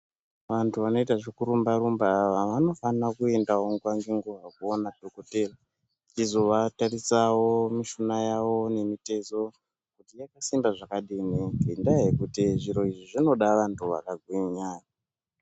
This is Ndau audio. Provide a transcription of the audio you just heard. Antu anoita zvekurumba-rumba ava vanofanira kuendawo nguwa nenguwa koona dhokotera eizovatarisawo mishuna yawo nemitezo kuti yakasimba zvakadini ngendaa yekuti izvi zvinoda vanhu vakagwinya.